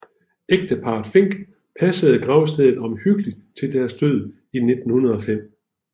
Ægteparret Fink passede gravstedet omhyggeligt til deres død i 1905